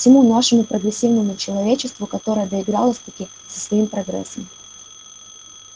всему нашему прогрессивному человечеству которое доигралось-таки со своим прогрессом